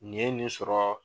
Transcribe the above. Nin ye nin sɔrɔ